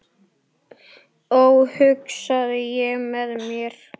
Ó hugsaði ég með mér.